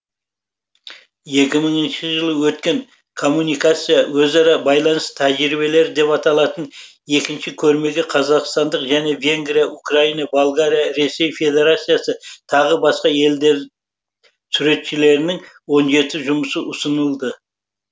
екі мыңыншы жылы өткен коммуникация өзара байланыс тәжірибелері деп аталатын екінші көрмеге қазақстандық және венгрия украина болгария ресей федерациясы тағы басқа елдер суретшілерінің он жеті жұмысы ұсынылды